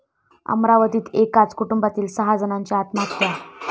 अमरावतीत एकाच कुटुंबातील सहा जणांची आत्महत्या